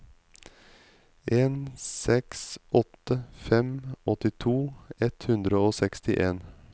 en seks åtte fem åttito ett hundre og sekstien